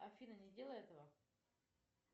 афина не делай этого